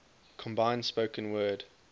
combined spoken word